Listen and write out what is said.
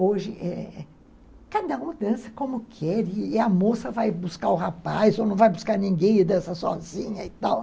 Hoje, é é cada um dança como quer e a moça vai buscar o rapaz ou não vai buscar ninguém e dança sozinha e tal.